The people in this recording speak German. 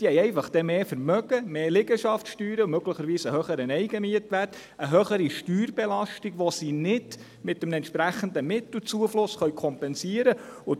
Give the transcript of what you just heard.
Diese haben einfach dann mehr Vermögen, mehr Liegenschaftssteuer, möglicherweise einen höheren Eigenmietwert, eine höhere Steuerbelastung, die sie nicht mit einem entsprechenden Mittelzufluss kompensieren können.